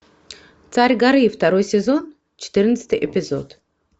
царь горы второй сезон четырнадцатый эпизод